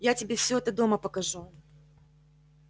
я тебе все это дома покажу